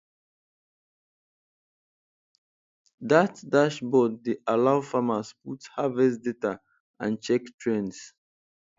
dat dashboard dey allow farmers put harvest data and check trends